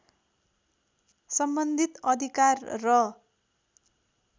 सम्बन्धित अधिकार र